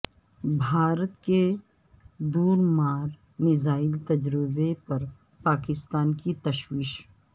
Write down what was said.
بھارت کے دور مار میزائل تجربے پر پاکستان کی تشویش